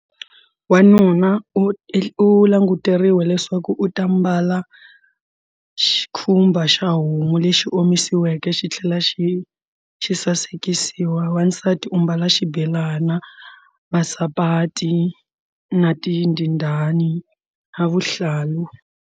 Wanuna u languteriwe leswaku u ta mbala xikhumba xa homu lexi omisiweke xi tlhela xi xi sasekisiwa wansati u mbala xibelana masapati na tindindani na vuhlalu.